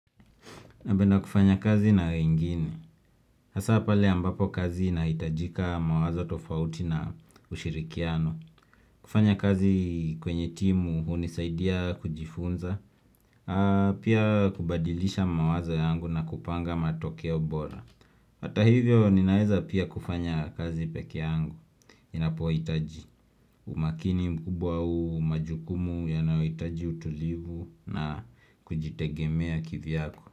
Nabenda kufanya kazi na wengine, hasa pale ambapo kazi inaitajika mawazo tofauti na ushirikiano. Kufanya kazi kwenye timu unisaidia kujifunza, pia kubadilisha mawazo yangu na kupanga matokeo bora. Hata hivyo ninaweza pia kufanya kazi peke yangu, inapoitaji umakini mkubwa au majukumu yanaoitaji utulivu na kujitegemea kivi yako.